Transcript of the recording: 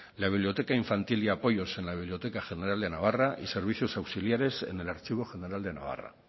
la biblioteca infantil y apoyos en la biblioteca general de navarra y servicio auxiliares en el archivo general de navarra